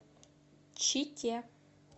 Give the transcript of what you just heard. чите